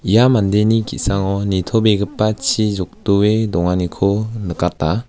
ia mandeni ki·sango nitobegipa chi jokdoe donganiko nikata.